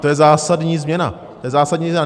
To je zásadní změna, to je zásadní změna.